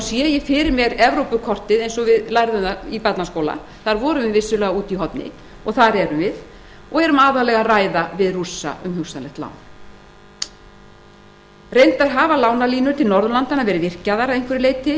sé ég fyrir mér evrópukortið eins og við höfðum það fyrir augunum í barnaskóla við vorum þar vissulega úti í horni og þar erum við og erum aðallega að ræða við rússa um hugsanlegt lán reyndar hafa lánalínur til norðurlandanna verið virkjaðar að einhverju leyti